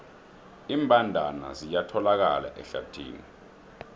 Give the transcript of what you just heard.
iimbandana ziyatholakala ehlathini